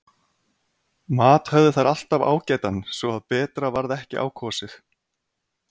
Mat höfðu þær alltaf ágætan svo að betra varð ekki á kosið.